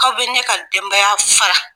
Aw bɛ ne ka denbaya fara